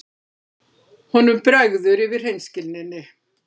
Honum bregður yfir hreinskilninni.